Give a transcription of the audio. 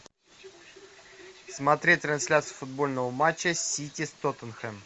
смотреть трансляцию футбольного матча сити с тоттенхэмом